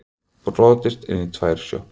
Brotist inn í tvær sjoppur